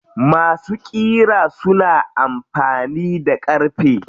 Masu ƙira suna amfani da ƙarfe.